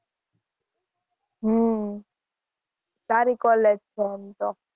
હમ સારી college છે એમ તો.